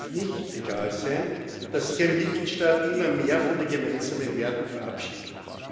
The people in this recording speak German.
Es darf nicht egal sein, dass sich ein Mitgliedstaat immer mehr von den gemeinsamen Werten verabschiedet.